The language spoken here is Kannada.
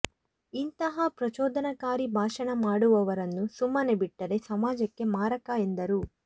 ಇಂತಹ ಪ್ರಚೋದನಕಾರಿ ಭಾಷಣ ಮಾಡುವವರನ್ನು ಸುಮ್ಮನೆ ಬಿಟ್ಟರೆ ಸಮಾಜಕ್ಕೆ ಮಾರಕ ಎಂದರು